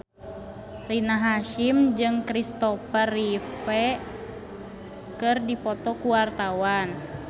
Rina Hasyim jeung Kristopher Reeve keur dipoto ku wartawan